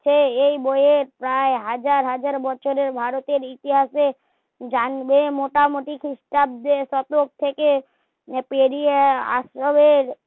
সে এই বই এর প্রায় হাজার হাজার বছরের ভারতের ইতিহাসের জানবে মোটা মুটি চুপচাপ দেশ আটক থেকে পেরিয়ে আসবে